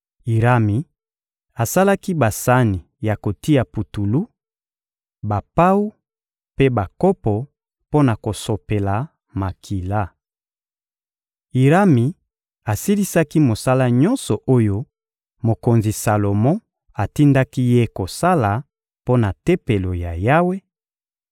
Irami asalaki basani ya kotia putulu, bapawu mpe bakopo mpo na kosopela makila. (2Ma 4.7–5.1) Irami asilisaki mosala nyonso oyo mokonzi Salomo atindaki ye kosala mpo na Tempelo ya Yawe: